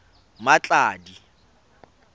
mmatladi